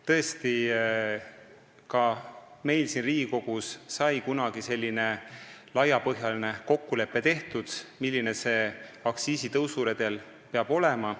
Tõesti, ka meil siin Riigikogus sai kunagi tehtud selline laiapõhjaline kokkulepe, milline peab see aktsiisitõusu redel olema.